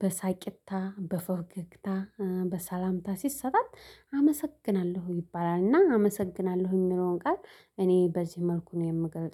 በሳቂታ በፈገግታ በሰላምታ ሲሰጣት አመሰግናለሁ ይባላል። እና አመሰግናለሁ የሚለውን ቃል እኔ በዚህ መልኩ ነው የምገርም